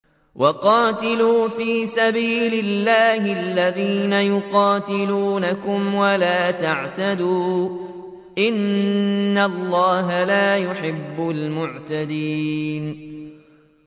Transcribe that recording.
وَقَاتِلُوا فِي سَبِيلِ اللَّهِ الَّذِينَ يُقَاتِلُونَكُمْ وَلَا تَعْتَدُوا ۚ إِنَّ اللَّهَ لَا يُحِبُّ الْمُعْتَدِينَ